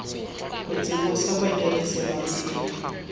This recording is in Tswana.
go tsibosa badirisi ba tsela